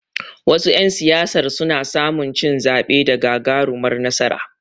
Wasu ƴan siyasar suna samu cin zaɓe da gagarumar nasara.